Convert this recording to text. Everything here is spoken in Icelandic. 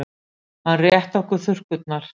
Hann rétti okkur þurrkurnar.